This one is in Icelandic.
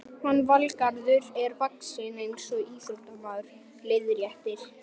Hann Valgarður er vaxinn eins og íþróttamaður, leiðréttir